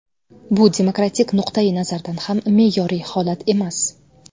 Bu demokratik nuqtayi nazardan ham me’yoriy holat emas.